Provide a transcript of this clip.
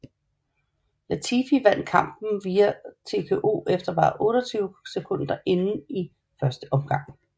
Latifi vandt kampen via TKO efter bare 28 sekunder inde i første omgang